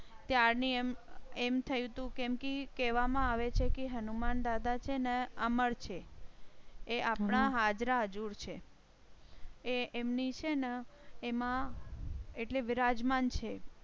ત્યાર ની એમ થયું તું કેમ કી કહેવામાં આવે છે કે હનુમાન દાદા છે ને અમર છે. એ આપણા હાજરા હજુર છે. એ એમ ની છે ને એમાં એટલે વિરાજમાન છે